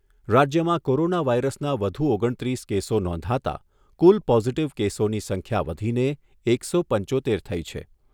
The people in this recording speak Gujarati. રાજ્યમાં કોરોના વાયરસના વધુ ઓગણત્રીસ કેસો નોંધાતા કુલ પોઝિટિવ કેસોની સંખ્યા વધીને એકસો પંચોતેર થઈ છે.